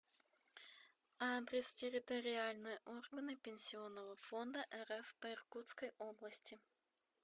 адрес территориальные органы пенсионного фонда рф по иркутской области